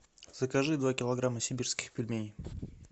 закажи два килограмма сибирских пельменей